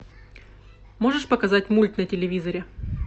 можешь показать мульт на телевизоре